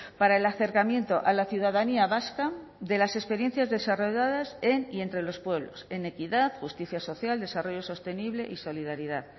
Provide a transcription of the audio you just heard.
para el acercamiento a la ciudadanía vasca de las experiencias desarrolladas en y entre los pueblos en equidad justicia social desarrollo sostenible y solidaridad